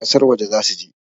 kasar waje za su je